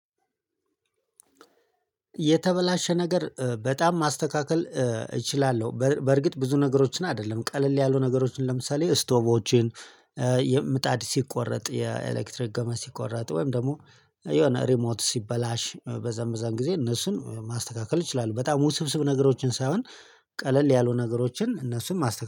የተበላሸ ነገር በጣም ማስተካከል እችላለሁ በርግጥ ብዙ ነገሮችን አይደለም ቀለል ያሉ ነገሮችን ለምሳሌ ስቶቮችን ምጣድ ሲቆረጥ የኤሌክትሪክ ገመድ ሲቆረጥ ወይም ደግሞ የሆነ ሪሞት ሲበላሽ በዛ በዛም ጊዜ እነሱን ማስተካከል እችላለው በጣም ውስብስብ ነገሮችን ሳይሆን ቀለል ያሉ ነገሮችን እነሱም ማስተካከል